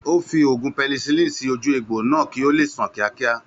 Ó fi oògùn penicilin sì ojú egbò náà kí ó leè san kíákíá